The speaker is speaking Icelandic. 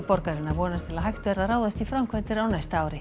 borgarinnar vonast til hægt verði að ráðast í framkvæmdir á næsta ári